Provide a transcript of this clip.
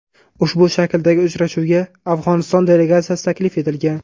Ushbu shakldagi uchrashuvga Afg‘oniston delegatsiyasi taklif etilgan.